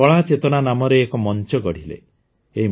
ସେ କଳା ଚେତନା ନାମରେ ଏକ ମଞ୍ଚ ଗଢ଼ିଲେ